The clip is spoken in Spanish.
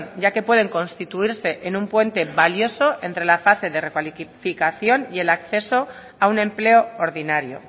ya que pueden constituirse en un puente valioso entre la fase de recualificación y el acceso a un empleo ordinario